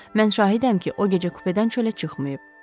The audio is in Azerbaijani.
Mən şahidəm ki, o gecə kupedən çölə çıxmayıb.